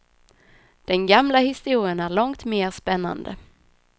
Den gamla historien är långt mer spännande.